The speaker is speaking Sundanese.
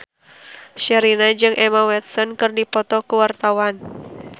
Sherina jeung Emma Watson keur dipoto ku wartawan